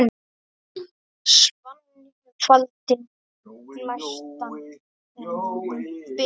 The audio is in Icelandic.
Svanni faldinn glæstan ber.